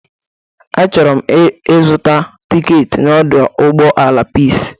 Achọrọ m ịzụta tiketi n'ọdọ ụgbọala Pis.